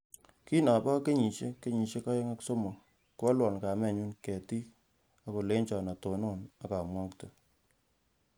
Kingobo kenyisiek kenyisiek aeng ak somok koalwo kametnyu ketit ak kolecho atonon ak amwokte